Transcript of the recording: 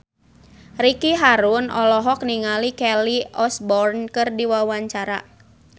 Ricky Harun olohok ningali Kelly Osbourne keur diwawancara